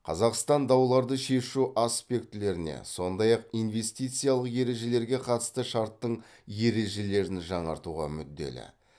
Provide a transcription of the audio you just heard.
қазақстан дауларды шешу аспектілеріне сондай ақ инвестициялық ережелерге қатысты шарттың ережелерін жаңартуға мүдделі